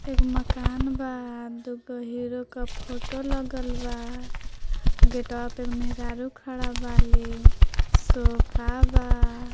एक मकान बा दोगो हीरो का फोटो लगलबा गेटवा पे महेरारु खड़ा वाली सोफा बा।